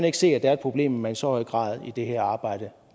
ikke se at det er et problem at man i så høj grad i det her arbejde